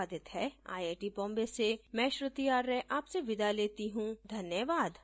यह स्क्रिप्ट बिंदु पांडे द्वारा अनुवादित है आईआईटी बॉम्बे से मैं श्रुति आर्य आपसे विदा लेती हूँ धन्यवाद